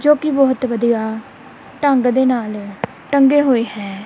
ਜੋ ਕਿ ਬਹੁਤ ਵਧੀਆ ਢੰਗ ਦੇ ਨਾਲ ਟੰਗੇ ਹੋਏ ਹੈ ।